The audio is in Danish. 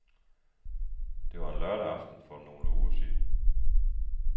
Det var en lørdag aften for nogle uger siden.